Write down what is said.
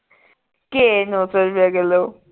ਘੈ ਨੌ ਸੋ ਰੁਪਏ ਕਿੱਲੋ